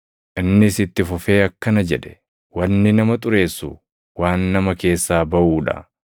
Innis itti fufee akkana jedhe: “Wanni nama ‘xureessu’ waan nama keessaa baʼuu dha.